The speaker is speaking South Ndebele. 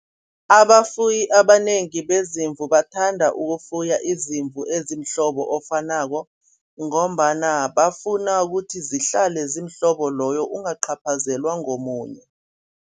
Abafuyi abanengi beziimvu bathanda ukufuya izimvu ezimhlobo ofanako ngombana bafuna ukuthi zihlale ziimhlobo loyo ungaqaphazelwa ngomunye.